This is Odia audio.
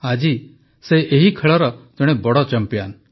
ଆଜି ସେ ଏହି ଖେଳର ଜଣେ ବଡ଼ ଚମ୍ପିଆନ